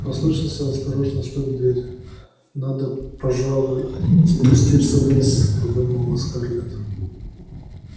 послышался осторожный стук в дверь надо пожалуй спуститься вниз подумала скарлетт